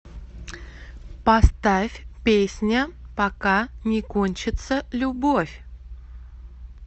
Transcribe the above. поставь песня пока не кончится любовь